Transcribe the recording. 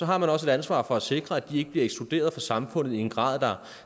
har man også et ansvar for at sikre at de ikke bliver ekskluderet fra samfundet i en grad der